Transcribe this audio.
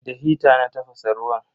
Da hita na tafasa ruwan.